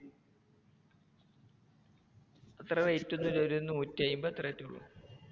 അത്ര rate ഒന്നും ഇല്ല, ഒരു നൂറ്റിഅയ്മ്പത് അത്രേ റ്റെ ഒള്ളു.